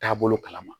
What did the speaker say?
Taabolo kalama